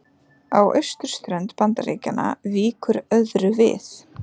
Á austurströnd Bandaríkjanna víkur öðru við.